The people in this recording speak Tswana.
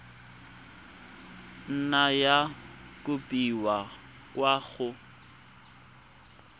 nna ya kopiwa kwa go